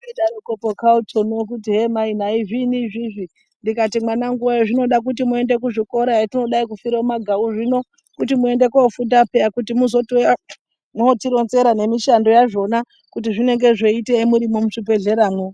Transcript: Waidoroko Kautoni urikuti hee mai nayi zviinyi izvizvi ndikati mwanangu nayi zvinoda kuti muende kuzvikora hetinodayi kufira mumagau zvino kuti muende kuofunda peya kuti muzotouya motironzera nemishando yazvona kuti zvinenge zveyiitei murimwo muzvibhedhlera mwo.